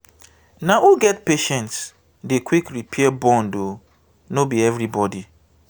na who get patience dey quick repair bond o no be everybodi.